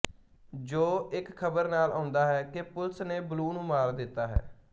Joe ਇਸ ਖ਼ਬਰ ਨਾਲ ਆਉਂਦਾ ਹੈ ਕਿ ਪੁਲਿਸ ਨੇ ਬਲੂ ਨੂੰ ਮਾਰ ਦਿੱਤਾ ਹੈ